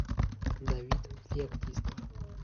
давид феоктистов